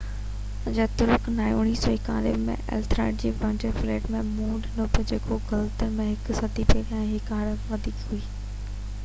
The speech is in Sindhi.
جيتوڻيڪ991 ۾ ايٿيلريڊ کي وائيڪنگ فليٽ کي منهن ڏيڻو پيو جيڪو گٿروم جي هڪ صدي پهريان کان هر هڪ کان وڌيڪ هئي